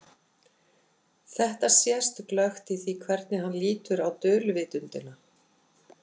Þetta sést glöggt í því hvernig hann lítur á dulvitundina.